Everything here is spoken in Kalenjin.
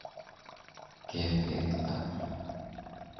ketekta.